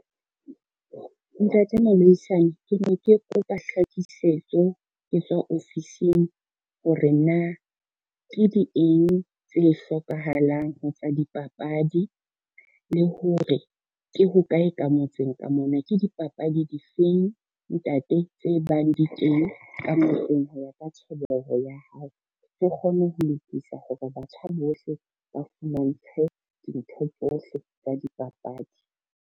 Ntate ke ne ke kopa hlakisetso, ke tswa ofising hore na ke di eng tse hlokahalang ho tsa dipapadi, le hore ke hokae ka motseng ka mona. Ke dipapadi difeng ntate tse bang di teng ka motseng ho ya ka tjhebeho ya hao, ke kgone ho lokisa hore batjha bohle ba fumantshwe dintho tsohle tsa dipapadi.